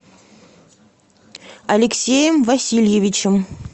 алексеем васильевичем